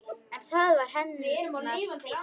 En það var hennar stíll.